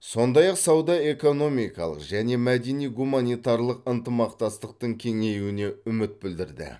сондай ақ сауда экономикалық және мәдени гуманитарлық ынтымақтастықтың кеңеюіне үміт білдірді